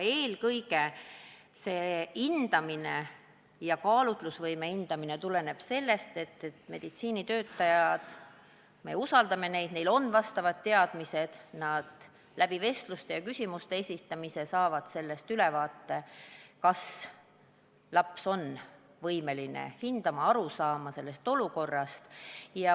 Eelkõige seisneb kaalutlusvõime hindamine selles, et meditsiinitöötajad – me usaldame neid, neil on vastavad teadmised – saavad vestlemise ja küsimuste esitamise kaudu ülevaate, kas laps on võimeline olukorda hindama, sellest aru saama.